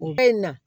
U bɛ na